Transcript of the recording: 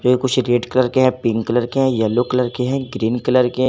ये कुछ red colour के है पिंक कलर के है येलो कलर के हैं ग्रीन कलर के--